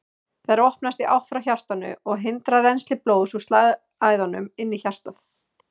Þær opnast í átt frá hjartanu og hindra rennsli blóðs úr slagæðunum inn í hjartað.